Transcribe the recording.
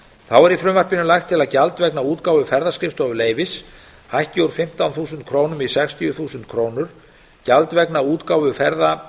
þá er í frumvarpinu lagt til að gjald vegna útgáfu ferðaskrifstofuleyfis hækki úr fimmtán þúsund krónur í sextíu þúsund króna gjald vegna útgáfu